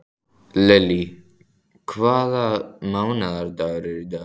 Lily, hvaða mánaðardagur er í dag?